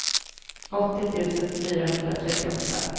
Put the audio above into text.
åttio tusen fyrahundratrettioåtta